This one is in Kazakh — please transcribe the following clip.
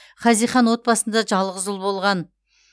хазихан отбасында жалғыз ұл болған